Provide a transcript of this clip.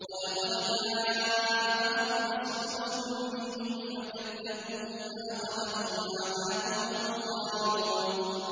وَلَقَدْ جَاءَهُمْ رَسُولٌ مِّنْهُمْ فَكَذَّبُوهُ فَأَخَذَهُمُ الْعَذَابُ وَهُمْ ظَالِمُونَ